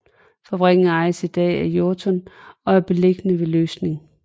Fabrikken ejes i dag af Jorton og er beliggende ved Løsning